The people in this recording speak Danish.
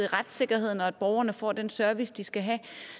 retssikkerheden og at borgerne får den service de skal have